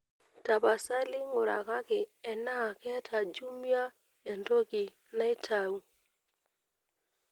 tapasali ngurai enaa keeta jumia entoki naitau